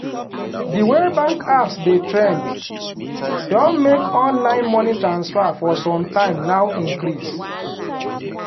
di way bank apps dey trend don make online money transfer for sometime now increase